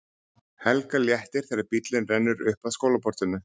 Helga léttir þegar bíllinn rennur upp að skólaportinu.